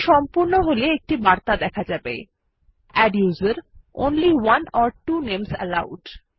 এটি সম্পূর্ণ হল একটি বার্তা দেখা যাবে adduser160 only one or two names allowed